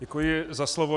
Děkuji za slovo.